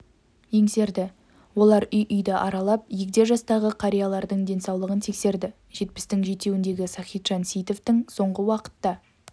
еңсерді олар үй-үйді аралап егде жастағы қариялардың денсаулығын тексерді жетпістің жетеуіндегі сахитжан сейітовтың соңғы уақытта